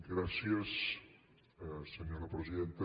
gràcies senyora presidenta